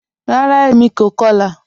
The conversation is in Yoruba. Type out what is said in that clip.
Ràrá, èmi kò kọ̀lá